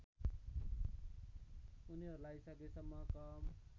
उनीहरूलाई सकेसम्म कम